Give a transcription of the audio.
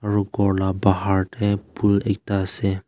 atu gour laga bahar te phool ekta ase.